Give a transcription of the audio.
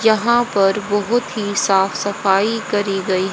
यहां पर बहुत ही साफ सफाई करी गई--